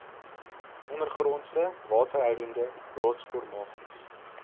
ondergrondse waterhoudende rotsformasies